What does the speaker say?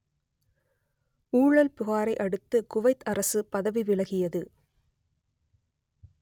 ஊழல் புகாரை அடுத்து குவைத் அரசு பதவி விலகியது